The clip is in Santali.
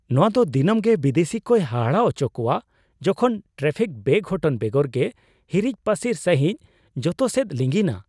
ᱱᱚᱶᱟ ᱫᱚ ᱫᱤᱱᱟᱢᱜᱮ ᱵᱤᱫᱮᱥᱤ ᱠᱚᱭ ᱦᱟᱦᱟᱲᱟᱜ ᱦᱚᱪᱚ ᱠᱚᱣᱟ ᱡᱚᱠᱷᱚᱱ ᱴᱨᱟᱯᱷᱤᱠ ᱵᱮᱼᱜᱷᱚᱴᱚᱱ ᱵᱮᱜᱚᱨ ᱜᱮ ᱦᱤᱨᱤᱡ ᱯᱟᱹᱥᱤᱨ ᱥᱟᱹᱦᱤᱡ ᱡᱚᱛᱚᱥᱮᱫ ᱞᱤᱸᱜᱤᱱᱟ ᱾